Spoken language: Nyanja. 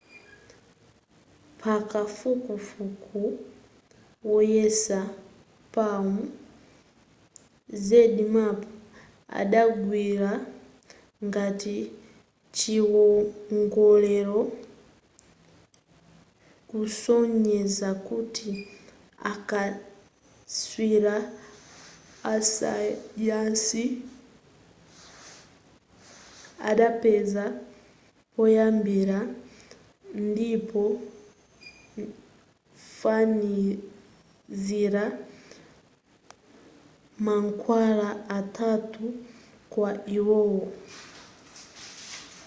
pakafukufuku woyesa palm zmapp adagwira ngati chiwongolero kusonyeza kuti akatswiri asayansi adapeza poyambira ndikufanizira mankhwala atatu kwa iwowo